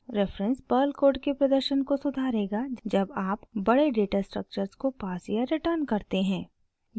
reference Perl code के प्रदर्शन को सुधारेगा जब आप बड़े डेटास्ट्रक्टर्स को पास या रिटर्न करते हैं